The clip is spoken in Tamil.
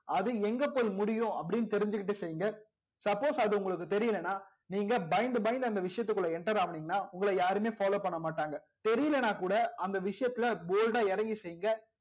அது எங்க போய் முடியும் அப்டின்னு தெரிஞ்சிக்கிட்டு செய்ங்க suppose அது உங்களுக்கு தெரியலனா நீங்க பயந்து பயந்து அந்த விசயத்துகுள்ள enter ஆகுனிங்கனா உங்கள யாரும் follow பண்ண மாட்டாங்க தெரியலனா கூட அந்த விஷயத்துல bold டா இறங்கி செய்ங்க